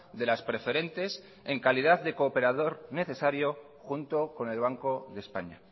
de las preferentes en calidad de cooperador necesario junto con el banco de españa